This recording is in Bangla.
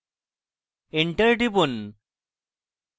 enter টিপুন